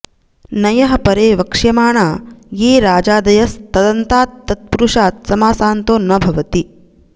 नञः परे वक्ष्यमाणा ये राजादयस् तदन्तात् तत्पुरुषात् समासान्तो न भवति